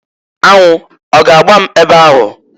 Anwụ ọ ga-agba m ebe ahụ?